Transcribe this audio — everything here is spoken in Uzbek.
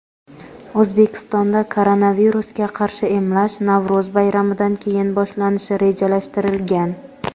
O‘zbekistonda koronavirusga qarshi emlash Navro‘z bayramidan keyin boshlanishi rejalashtirilgan.